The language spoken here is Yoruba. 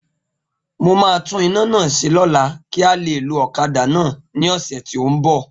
Mo ma tún ina náà ṣẹ lóla kí a lè lo ọ̀kadà náà ní ọ̀sẹ̀ tí o nbọ